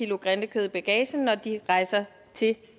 grindekød i bagagen når de rejser til